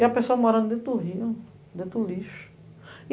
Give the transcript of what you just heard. E a pessoa morando dentro do rio, dentro do lixo.